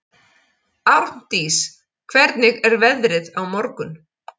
Árndís, hvernig er veðrið á morgun?